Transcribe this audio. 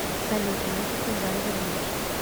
салют музыку в жанре блюз